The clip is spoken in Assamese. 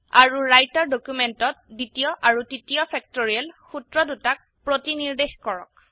আৰু ৰাইটাৰ ডকিউমেন্টত দ্বিতীয় আৰু তৃতীয় ফেক্টৰিয়েল সুত্ৰদুটাক প্ৰতিনিৰ্দেশ কৰক